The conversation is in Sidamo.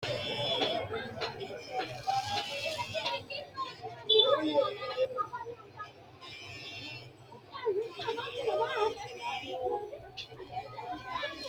Wedelite beeto wonbarete aana ofolite danase daaminado umoho shaarbe usudhite amadinore guluchise aana worte mundee uyitani gonesera mundee harano beeti no.